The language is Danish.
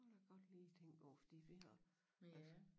Det kan jeg godt lige tænke over fordi vi har altså